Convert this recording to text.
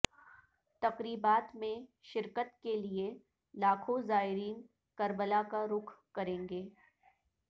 تقریبات میں شرکت کے لیے لاکھوں زائرین کربلا کا رخ کریں گے